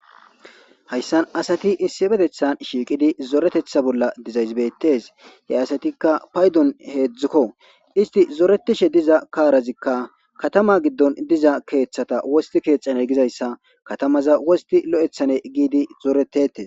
Hayssan asati issifetethan shiiqidi zoretetha bolla dizaysbeetes he asatikka paydon heedzdzukko isti zoretishe diza kaarazikka katama giddon diza keeththata wosti keexane gizayssa katamaza wosti lo'ethane giidi zoretetes